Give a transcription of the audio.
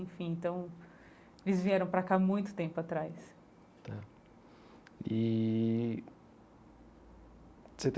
Enfim, então eles vieram pra cá muito tempo atrás tá e